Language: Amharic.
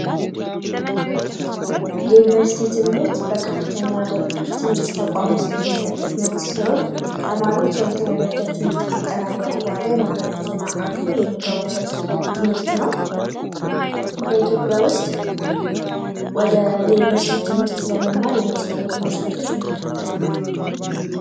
የዩኒቨርስቲ ትምህርት በከፍተኛ ትምህርት ተቋም ውስጥ የሚሰጥ ትምህርት ሲሆን ተማሪዎች የሁለተኛ ደረጃ ትምህርት ካጠናቀቁ በኋላ የመግቢያ ፈተና አልፈው የሚገቡበት ትምህርት ነው። በኢትዮጵያ ውስጥ ወደ የዩኒቨርስቲ ትምህርት ለመማር የሚያስፈልጉ መስፈርቶች ምንድን ናቸው።